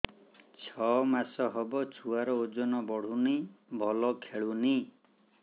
ଛଅ ମାସ ହବ ଛୁଆର ଓଜନ ବଢୁନି ଭଲ ଖେଳୁନି